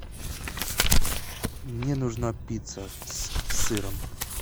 мне нужна пицца с сыром